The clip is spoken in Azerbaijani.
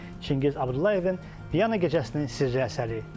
Çingiz Abdullayevin Vyana gecəsinin sirri əsəri.